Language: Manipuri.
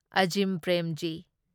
ꯑꯓꯤꯝ ꯄ꯭ꯔꯦꯝꯖꯤ